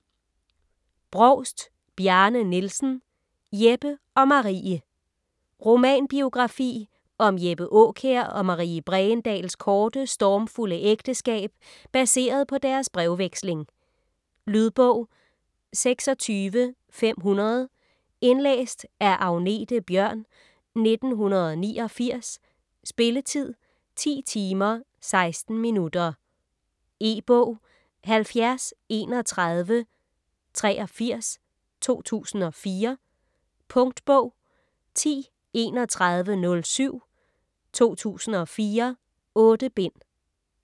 Brovst, Bjarne Nielsen: Jeppe og Marie Romanbiografi om Jeppe Aakjær og Marie Bregendahls korte, stormfulde ægteskab, baseret på deres brevveksling. Lydbog 26500 Indlæst af Agnethe Bjørn, 1989. Spilletid: 10 timer, 16 minutter. E-bog 703183 2004. Punktbog 103107 2004. 8 bind.